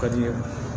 Ka di